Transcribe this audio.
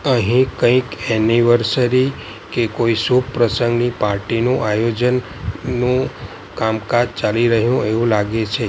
અહીં કંઈક એનિવર્સરી કે કોઈ શુભ પ્રસંગની પાર્ટીનું આયોજન નું કામ-કાજ ચાલી રહ્યું એવુ લાગે છે.